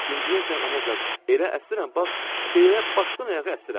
İndiyəcən anacan, elə əsirəm, bax, belə başdan ayağa əsirəm.